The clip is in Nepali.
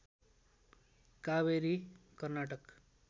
कावेरी कर्नाटक